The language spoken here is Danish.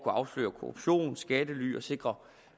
afsløre korruption skattely og sikre